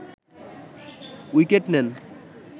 wicket নেন